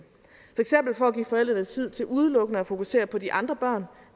forældrene tid til udelukkende at fokusere på de andre børn